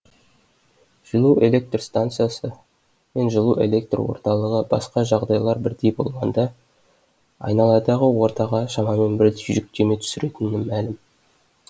жылу электр станциясы мен жылу электр орталығы басқа жағдайлар бірдей болғанда айналадағы ортаға шамамен бірдей жүктеме түсіретіні мәлім